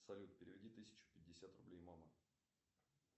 салют переведи тысячу пятьдесят рублей мама